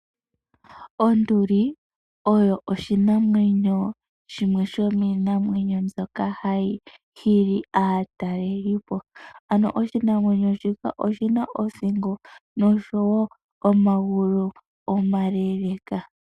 Onduli oyo oshimaliwa shimwe shomiinamwenyo mbyoka hayi hili aatalelipo, ano oshinamwenyo shika oshina othingo noshowo omagulu omaleeleeka.